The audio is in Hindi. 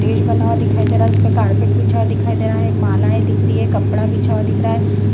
स्टेज बना हुआ दिखाई दे रहा है | इसपर कारपेट बिछा हुआ दिखाई दे रहा है | मालाएं दिख रही है कपड़ा बिछा हुआ दिख रहा है ।